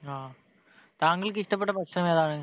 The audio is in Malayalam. ങ്ഹാ. താങ്കൾക്ക് ഇഷ്ടപ്പെട്ട ഭക്ഷണം ഏതാണ്?